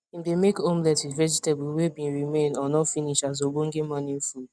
im dey make omelet with vegetables wey been remain or no finish as ogbonge morning food